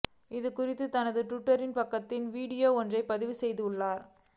இதுகுறித்து தனது டுவிட்டர் பக்கத்தில் வீடியோ ஒன்றை பதிவு செய்துள்ளார்